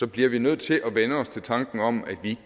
bliver vi nødt til at vænne os til tanken om at vi